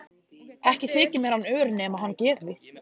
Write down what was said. Ekki þyki mér hann ör nema hann gefi.